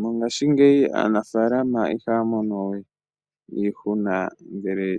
Mongashingeyi aanafaalama ihaya mono we iihuna ngele